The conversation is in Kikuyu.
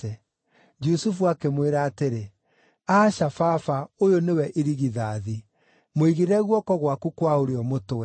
Jusufu akĩmwĩra atĩrĩ, “Aca, baba ũyũ nĩwe irigithathi; mũigĩrĩre guoko gwaku kwa ũrĩo mũtwe.”